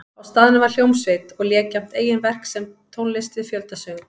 Á staðnum var hljómsveit og lék jafnt eigin verk sem tónlist við fjöldasöng.